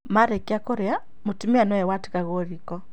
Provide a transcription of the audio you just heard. Marĩkia kũrĩa mũtumia nĩwe watigagwo riko